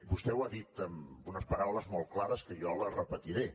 vostè ho ha dit amb unes paraules molt clares que jo les repetiré